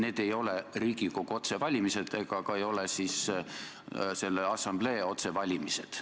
Need ei ole Riigikogu otsevalimised ega ka selle assamblee otsevalimised.